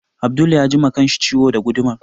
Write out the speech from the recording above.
Abdul ya ji ma kanshi ciwo da gudumar